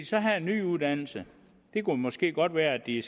så have en ny uddannelse det kunne måske godt være at de